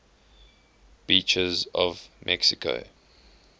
beaches of mexico